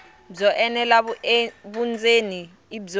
byo enela vundzeni i byo